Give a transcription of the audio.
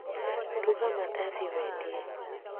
Ruga mandathi wendie